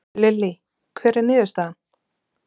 Lillý, hver er niðurstaðan?